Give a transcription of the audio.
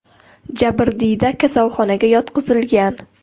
Jabrdiyda kasalxonaga yotqizilgan.